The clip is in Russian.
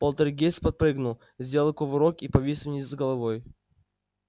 полтергейст подпрыгнул сделал кувырок и повис вниз головой